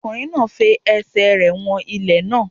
Ọkùnrin náà fi ẹsẹ̀ rẹ̀ wọn ilẹ̀ náà.